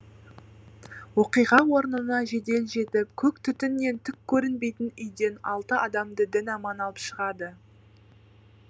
оқиға орнына жедел жетіп көк түтіннен түк көрінбейтін үйден алты адамды дін аман алып шығады